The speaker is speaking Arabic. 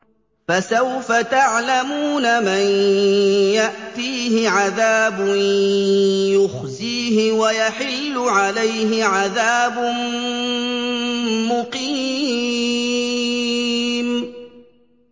فَسَوْفَ تَعْلَمُونَ مَن يَأْتِيهِ عَذَابٌ يُخْزِيهِ وَيَحِلُّ عَلَيْهِ عَذَابٌ مُّقِيمٌ